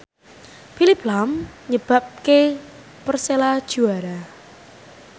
Phillip lahm nyebabke Persela juara